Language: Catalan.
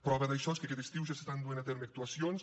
prova d’això és que aquest estiu ja s’estan duent a terme actuacions